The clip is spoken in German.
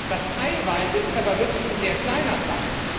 Das teilweise ist aber wirklich ein sehr kleiner Teil.